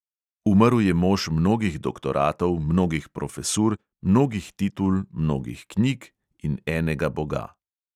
Umrl je mož mnogih doktoratov, mnogih profesur, mnogih titul, mnogih knjig in enega boga.